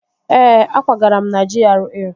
Ee, akwagara m na GRA